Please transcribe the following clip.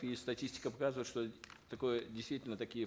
и статистика показывает что такое действительно такие